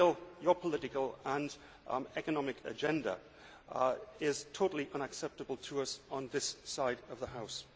Your political and economic agenda is totally unacceptable to us on this side of the House.